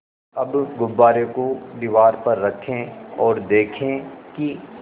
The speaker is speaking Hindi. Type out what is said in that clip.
अब गुब्बारे को दीवार पर रखें ओर देखें कि